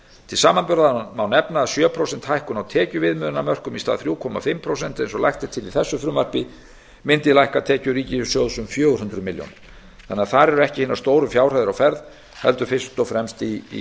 til samanburðar má nefna að sjö prósenta hækkun á tekjuviðmiðunarmörkunum í stað þriggja og hálft prósent eins og lagt er til í þessu frumvarpi mundi lækka tekjur ríkissjóðs um fjögur hundruð milljónir þar eru ekki hinar stóru fjárhæðir á ferð heldur fyrst og fremst í